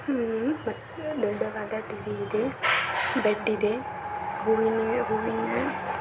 ದೊಡ್ಡದಾದ್ TV ಇದೆ bed ಇದೆಮತ್ತು ಹೂವಿನ --